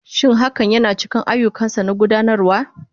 Shin hakan yana cikin ayyukansa na gudanarwa?